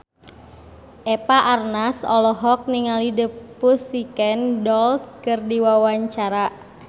Eva Arnaz olohok ningali The Pussycat Dolls keur diwawancara